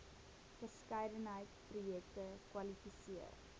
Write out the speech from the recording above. verskeidenheid projekte kwalifiseer